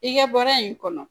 I ka baara in kɔnɔ